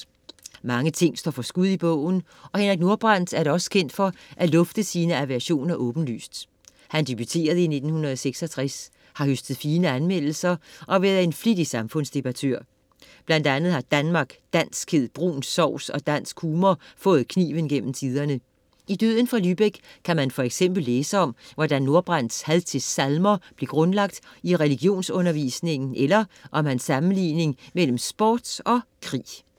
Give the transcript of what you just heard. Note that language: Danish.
Mange ting står for skud i bogen og Henrik Nordbrandt er da også kendt for at lufte sine aversioner åbenlyst. Han debuterede i 1966, har høstet fine anmeldelser og været en flittig samfundsdebattør. Blandt andet har Danmark, danskhed, brun sovs og dansk humor fået kniven gennem tiderne. I Døden fra Lübeck kan man for eksempel læse om, hvordan Nordbrandts had til salmer blev grundlagt i religionsundervisningen eller om hans sammenligning mellem sport og krig.